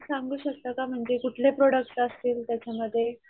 सांगू शकता का म्हणजे कुठले प्रॉडक्ट असतील त्याच्या मध्ये?